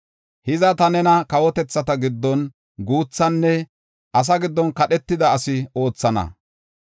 “Hiza, ta nena kawotethata giddon guuthana; asaa giddon kadhetida asi oothana.